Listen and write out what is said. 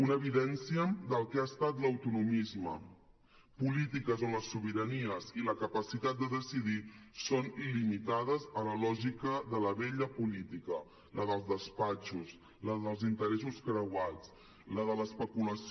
una evidència del que ha estat l’autonomisme polítiques on les sobiranies i la capacitat de decidir són limitades a la lògica de la vella política la dels despatxos la dels interessos creuats la de l’especulació